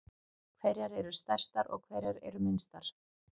Hverjar eru stærstar og hverjar eru minnstar?